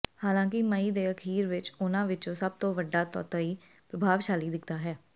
ਹਾਲਾਂਕਿ ਮਈ ਦੇ ਅਖ਼ੀਰ ਵਿਚ ਉਨ੍ਹਾਂ ਵਿਚੋਂ ਸਭ ਤੋਂ ਵੱਡਾ ਤੌਤਈ ਪ੍ਰਭਾਵਸ਼ਾਲੀ ਦਿਖਦਾ ਹੈ